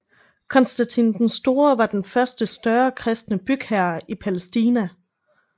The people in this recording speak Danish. Konstantin den Store var den første større kristne bygherre i Palæstina